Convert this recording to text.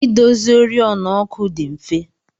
Idozi oriọna ọkụ dị mfe.